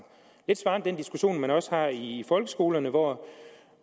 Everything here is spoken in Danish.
det svarer den diskussion man også her i folkeskolerne hvor